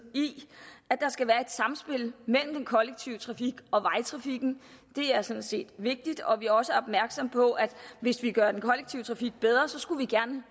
i at der skal være et samspil mellem den kollektive trafik og vejtrafikken det er sådan set vigtigt og vi er også opmærksomme på at hvis vi gør den kollektive trafik bedre skal vi gerne